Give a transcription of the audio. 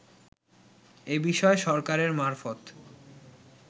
এ বিষয়ে সরকারের মারফত